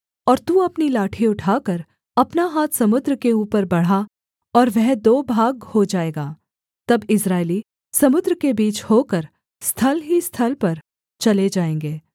और तू अपनी लाठी उठाकर अपना हाथ समुद्र के ऊपर बढ़ा और वह दो भाग हो जाएगा तब इस्राएली समुद्र के बीच होकर स्थल ही स्थल पर चले जाएँगे